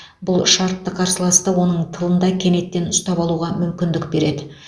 бұл шартты қарсыласты оның тылында кенеттен ұстап алуға мүмкіндік береді